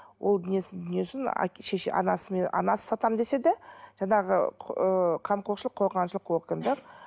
ол несін несін шеше анасымен анасы сатамын десе де жаңағы ы қамқоршылық қорғаншылық органдар